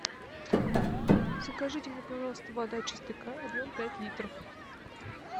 закажите мне пожалуйста вода чистый край объем пять литров